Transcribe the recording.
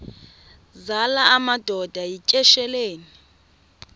zala madoda yityesheleni